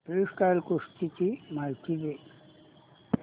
freestyle कुस्ती ची माहिती दे